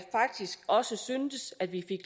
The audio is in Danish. faktisk også synes at vi